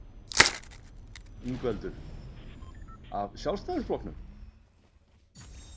Ingveldur: Af Sjálfstæðisflokknum?